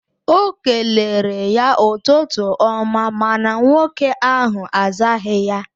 O kelere ya ụtụtụ ọma mana nwoke ahụ azaghị ya